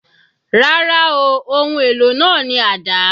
Rárá ooo, ohun èlò náà ni àdá